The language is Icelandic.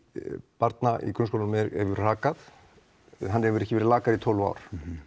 barna í grunnskólum hefur hrakað hann hefur ekki verið lakari í tólf ár